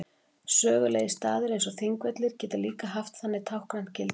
Sögulegir staðir eins og Þingvellir geta líka haft þannig táknrænt gildi.